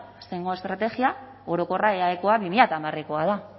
estrategia orokorra eaekoa bi mila hamarekoa da